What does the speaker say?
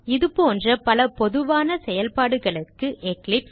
அதுபோன்ற பல பொதுவான செயல்பாடுகளுக்கு எக்லிப்ஸ்